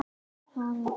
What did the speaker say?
Hvað gerir hann í dag?